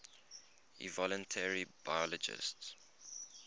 evolutionary biologists